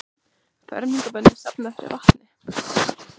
Fermingarbörn safna fyrir vatni